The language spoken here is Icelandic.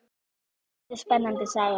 Þetta er spennandi saga.